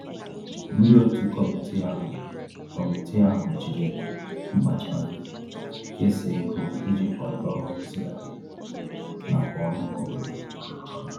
Ndị òtù committee ahụ committee ahụ jiri mkpachara ányá kesaa égo iji kwadoo ọrụ nrụzigharị nakwa oru ime obodo